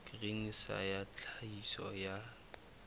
grain sa ya tlhahiso ya